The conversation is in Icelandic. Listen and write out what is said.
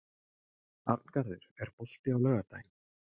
Arngarður, er bolti á laugardaginn?